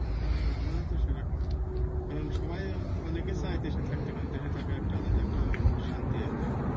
হ্যাঁ হ্যাঁ আমার তো সেরকম কারণ সবাই অনেকে চায় দেশে থাকতে কারণ দেশে থাকতে দেশে থাকা একটা আলাদা শান্তি আর কি।